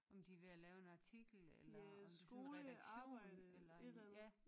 Om de er ved at lave en artikel eller om det er sådan en redaktion eller ja